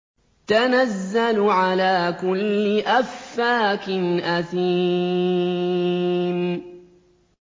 تَنَزَّلُ عَلَىٰ كُلِّ أَفَّاكٍ أَثِيمٍ